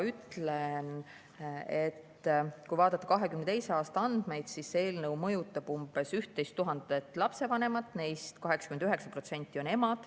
Kui vaadata 2022. aasta andmeid, siis see eelnõu mõjutab umbes 11 000 lapsevanemat, neist 89% on emad.